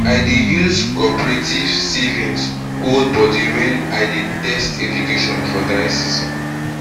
i dey use coperative savings hold bodi wen i dey test irrigation for dry season